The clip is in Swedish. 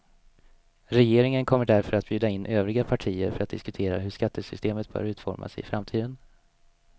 Regeringen kommer därför att bjuda in övriga partier för att diskutera hur skattesystemet bör utformas i framtiden.